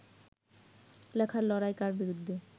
লেখার লড়াই কার বিরুদ্ধে